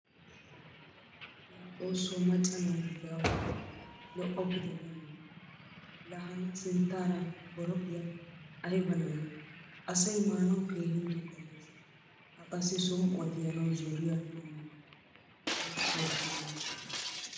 La xoosso macca naatuppe awu baane? Lo'opitte merinawu. La han sinttaara boroqiya ayba na'e? Asay maanawu keehin tugattees. A qassi som'uwaa tiyanawu zooriyaa immawusu. Zoraa goppo neena.